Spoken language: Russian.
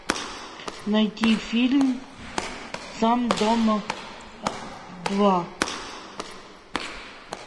найти фильм сам дома два